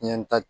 Ɲɛ ta